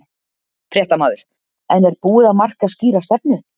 Fréttamaður: En er búið að marka skýra stefnu?